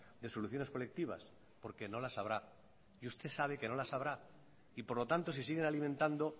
de soluciones colectivas porque no las habrá y usted sabe que no las habrá y por lo tanto si siguen alimentando